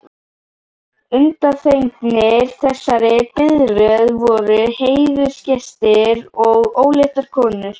Undanþegnir þessari biðröð voru heiðursgestir og óléttar konur.